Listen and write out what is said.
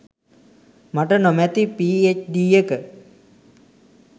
මට නොමැති පීඑච්ඩී එක